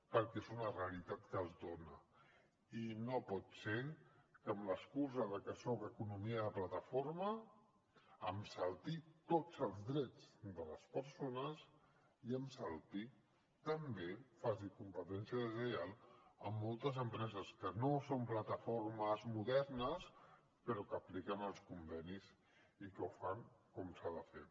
perquè és una realitat que es dona i no pot ser que amb l’excusa que soc economia de plataforma em salti tots els drets de les persones i em salti també i faci competència deslleial a moltes empreses que no són plataformes modernes però que apliquen els convenis i que ho fan com s’ha de fer